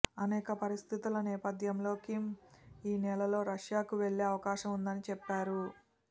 అనేక పరిస్థితుల నేపథ్యంలో కిమ్ ఈ నెలలోనే రష్యాకు వెళ్లే అవకాశం ఉందని చెప్పారు